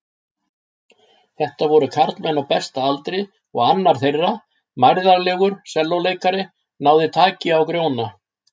Þetta voru karlmenn á besta aldri og annar þeirra, mærðarlegur sellóleikari, náði taki á Grjóna.